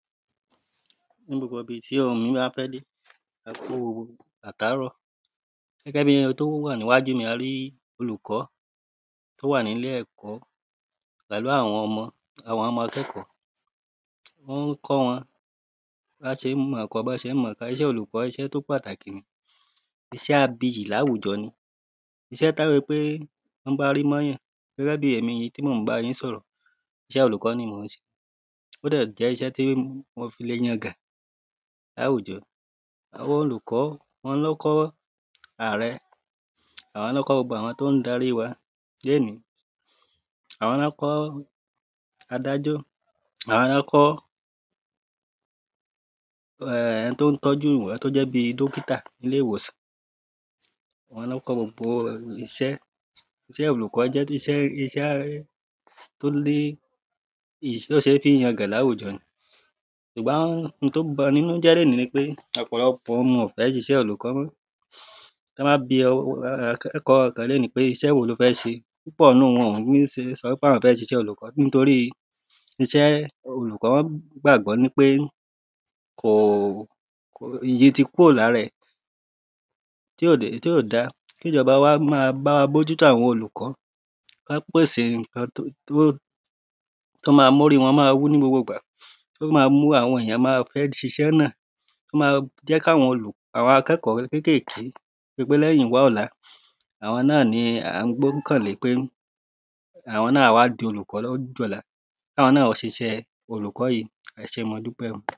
Ní gbogbo ibi tí ohùn mi bá fẹ́ dé ẹ kúu àtàárọ̀ Gẹ́gẹ́ bíi oun tí ó wà níwajú mi yìí a ri olùkọ́ tí ó wà ní ilé ẹ̀kọ́ pẹ̀lú àwọn ọmọ àwọn ọmọ akẹ́kọ̀ọ́ Ó ń kọ́ wọ́n bí wọn ṣe ń mọ̀ ọ́ kọ bí wọ́n ṣe ń mọ̀ ọ́ kà Iṣẹ́ olùkọ́ iṣẹ́ tí ó pàtàkì ni Iṣẹ́ abiyì ní àwùjọ ni Iṣẹ́ tí ó yẹ pé tí wọ́n bá rí mọ́ èyàn gẹ́gẹ́ bíi èmi yìí tí mò ń bá yín sọ̀rọ̀ iṣẹ́ olùkọ́ ni mò ń ṣe ó dẹ̀ jẹ́ iṣẹ́ tí mo fi le yangan ní àwùjọ Àwọn olùkọ́ àwọn ni ó kọ́ ààrẹ Àwọn ni wọ́n kọ́ gbogbo àwọn tí ó ń darí wa ní èní Àwọn ni wọ́n kọ́ adájọ́ Àwọn ni wọ́n kọ́ ẹni tí ó ń tọ́jú ẹni tí ó jẹ́ bíi dókità nílé ìwòsàn Àwọn ni wọ́n kọ́ gbogbo iṣẹ́ Iṣẹ́ olùkọ́ jẹ́ iṣẹ́ iṣẹ́ tí ó ní tí ó ṣe fi ń yangàn ní àwùjọ ni Ṣùgbọ́n oun tí ó ń ba ẹni nínú jẹ lónìí ni pé ọ̀pọ̀lọpọ̀ ọmọ ò fẹ́ ṣiṣẹ́ olùkọ́ mọ́ Tí wọ́n bá bi akẹ́kọ̀ọ́ kan lónìí pé iṣẹ́ wo ló fẹ́ ṣe púpọ̀ nínú wọn ò ní sọ ń pé àwọn fẹ́ ṣiṣẹ́ olùkọ́ nítorí iṣẹ́ olùkọ́ wọ́n gbàgbọ́ wípé kò iyì ti kúrò ní ara ẹ̀ tí ò da Kí ìjọba wa máa bá wa bójútó àwọn olùkọ́ Kí wọ́n pèsè nǹkan tí óò mú orí wọ́n máa wú ní gbogbo ìgbà tí ó ma mú àwọn èyàn ma fẹ́ ṣiṣẹ́ náà tí ó ma jẹ́ kí àwọn akẹ́kọ̀ọ́ kékèèké torípé lẹ́yìn wá ọ̀la àwọn náà ni à ń gbọ́kàn lé ń pé àwọn náà á wá di olùkọ́ ní ọjọ́ ọ̀la Kí àwọn náà ó ṣiṣẹ́ olùkọ́ yìí ẹ ṣée mo dúpẹ́ o